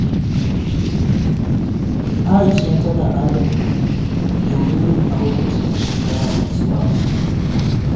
Aisha tana adana kudi domin yin aure cikin shekara mai zuwa.